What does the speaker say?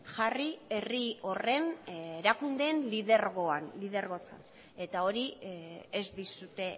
jarri herri horren erakundeen lidergoan lidergotzan eta hori ez dizute